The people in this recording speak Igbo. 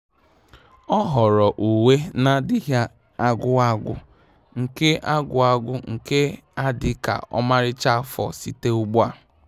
Ọ́ họ̀ọ̀rọ̀ uwe nà-adị́ghị́ ágwụ́ ágwụ́ nke ágwụ́ ágwụ́ nke ga-adị́ kà ọ́màrị́chá afọ site ugbu a.